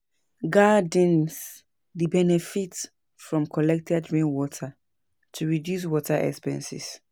Gardens dey benefit from collected rainwater to reduce water expenses.